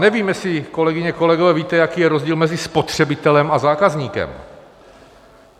Nevím, jestli, kolegyně, kolegové, víte, jaký je rozdíl mezi spotřebitelem a zákazníkem.